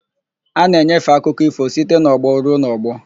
A na-enyefe akụkọ ífò site n'ọgbọ ruo n'ọgbọ.